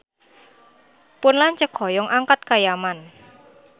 Pun lanceuk hoyong angkat ka Yaman